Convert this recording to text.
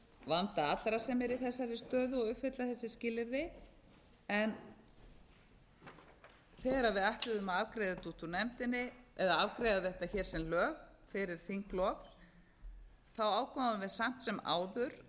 vanda allra sem eru í þessari stöðu og uppfylla þessi skilyrði en þegar við ætluðum að afgreiða þetta út úr nefndinni eða afgreiða þetta hér sem lög fyrir þinglok ákváðum við samt sem áður